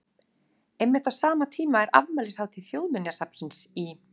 Einmitt á sama tíma er afmælishátíð Þjóðminjasafnsins í